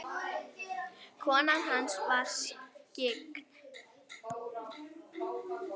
Konan hans var skyggn.